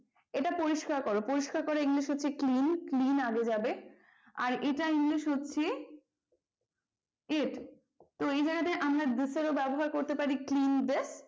এটা পরিস্কার করো পরিষ্কার করার english হচ্ছে clean clean আগে যাবে আর এটা english হচ্ছে it তো এই জায়গাতে আমরা this এর ও ব্যবহার করতে পারি clean this